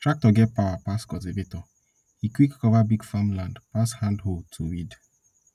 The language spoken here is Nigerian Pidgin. tractor get power pass cultivator e quick cover big farmland pass hand hoe to weed